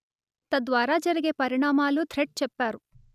తద్వారా జరిగే పరిణామాలూ థ్రెడ్ చెప్పారు